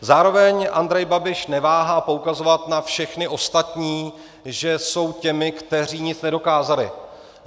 Zároveň Andrej Babiš neváhá poukazovat na všechny ostatní, že jsou těmi, kteří nic nedokázali.